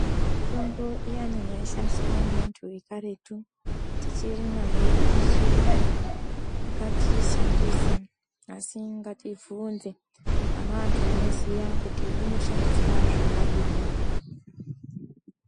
Mitombo iyani yaishandiswa ngeantu ekaretu , tichirinayo, ichirimo ngatiishandise asi ngatibvunze pana antu anoziye kuti inoshandiswa zvakadini.